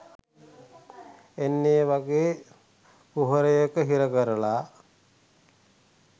අන්න ඒ වගේ කුහරයක හිර කරලා